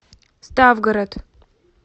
ставгород